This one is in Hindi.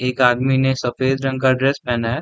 एक आदमी ने सफेद रंग का ड्रेस पहना है।